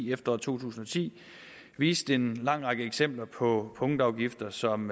efteråret to tusind og ti viste en lang række eksempler på punktafgifter som